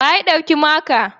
Wa ya ɗauki makata?